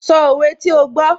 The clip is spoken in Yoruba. Sọ òwe tí ó gbó